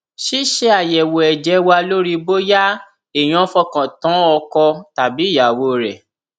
ṣíṣe àyẹwò ẹjẹ wa lórí bóyá èèyàn fọkàn tán ọkọ tàbí ìyàwó rẹ